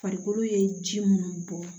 Farikolo ye ji munnu bɔ